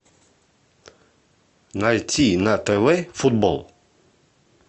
найти на тв футбол